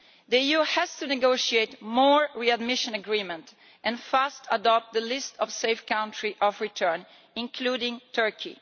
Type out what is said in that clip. The EU has to negotiate more readmission agreements and fast adopt the list of safe countries of return, including Turkey.